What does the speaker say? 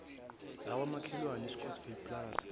zakwamakhelwane iscottsvile plaza